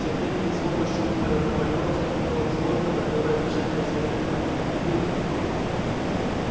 тем временем с помощью уимпера наполеон вступил в сложные торговые отношения с фредериком и пилкингтоном